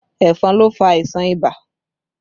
Ẹ̀fọn ló fà àìsàn ibà